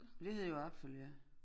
Det hedder jo apfel ja